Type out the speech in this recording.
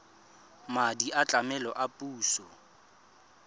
madi a tlamelo a puso